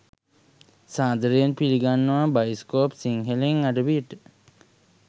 සාදරයෙන් පිළිගන්නවා බයිස්කෝප් සිංහලෙන් අඩවියට